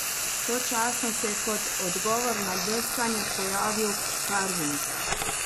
Sočasno se je kot odgovor na deskanje pojavil karving.